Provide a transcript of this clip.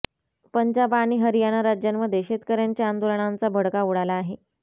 पंजाब आणि हरियाणा राज्यांमध्ये शेतकऱ्यांच्या आंदोलनांचा भडका उडाला आहे